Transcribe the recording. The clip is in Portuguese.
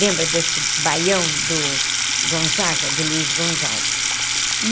Lembra desse baião do Gonzaga, do Luiz Gonzaga?